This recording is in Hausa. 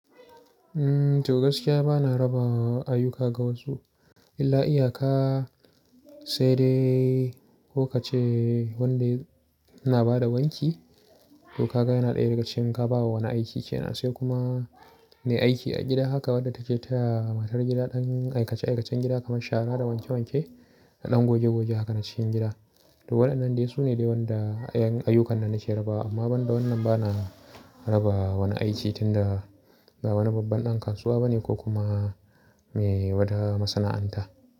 Eh, to gaskiya bana raba ayyuka ga wasu. Illa iyaka sai dai ko ka ce wanda yana ba da wanki, ko ka ga yana ɗaya daga cikin ka ba wa wani aiki ke nan, sai kuma me aiki a gida. Haka wadda take taya matar gida ɗan aikace-aikacen gida kamar shara da wanke-wanke da ɗan goge-goge. Haka na cikin gida. To waɗannan dai su ne dai waɗanda 'yan ayyukan nan nake raba. Amma banda wannan bana raba wani aiki tunda ba wani babban ɗan kasuwa bane ko kuma me wata masana'anta.